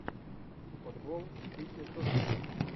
футбол сити тоттенхэм